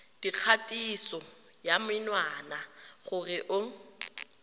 dikgatiso ya menwana gore o